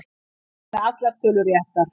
Einn með allar tölur réttar